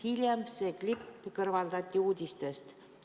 Hiljem see klipp kõrvaldati uudistest.